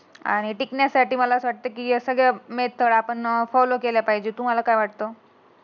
I टिकण्यासाठी मला असं वाटतं, की या सगळ्या मेकअप त्र आपण फॉलो केल्या पहिजे. तुम्हाला काय वाटत.